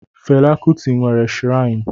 Fela Kuti nwere shirainu